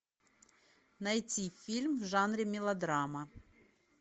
найти фильм в жанре мелодрама